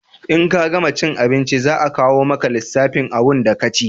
In ka gama cin abinci za a kawo maka lissafin abunda ka ci